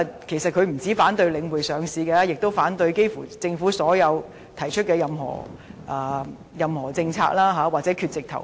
他不僅反對領匯上市，幾乎政府提出的任何政策他都反對，要不就是缺席投票。